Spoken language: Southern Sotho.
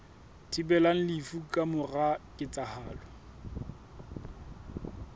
thibelang lefu ka mora ketsahalo